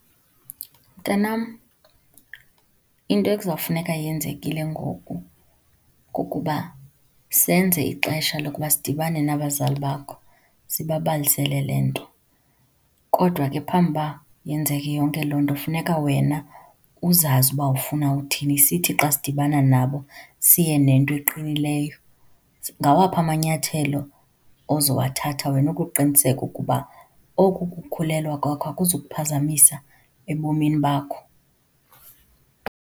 Mntanam, into ekuzawufuneka yenzekile ngoku kukuba senze ixesha lokuba sidibane nabazali bakho sibabalisele le nto. Kodwa ke ngaphambi uba yenzeke yonke loo nto, kufuneka wena uzazi uba ufuna uthini. Sithi xa sidibana nabo, siye nento eqinileyo. Ngawaphi amanyathelo ozowathatha wena ukuqiniseka ukuba oku kukhulelwa kwakho akuzukuphazamisa ebomini bakho?